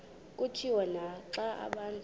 kutshiwo naxa abantu